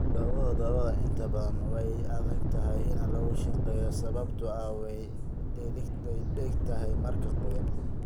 dhoobada dhoobada ah inta badan way adagtahay in lagu shaqeeyo sababtoo ah way dhegtaataa marka qoyan.